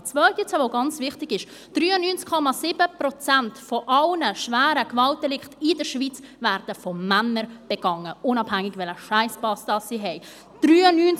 Die zweite Zahl, die ganz wichtig ist: 93,7 Prozent aller schweren Gewaltdelikte in der Schweiz werden von Männern begangen, unabhängig, welchen Scheisspass sie haben.